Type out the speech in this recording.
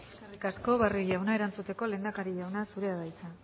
eskerrik asko barrio jauna erantzuteko lehendakari jauna zurea da hitza